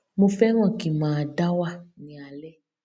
mo fẹràn kí n máa dá wà ní alẹ